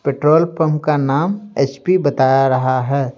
Petrol pump का नाम HP बता रहा है।